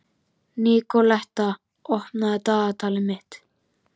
Nikoletta, opnaðu dagatalið mitt.